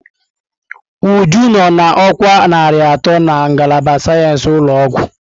Uju nọ na ọkwa narị atọ na ngalaba sayensị ụlọ ọgwụ.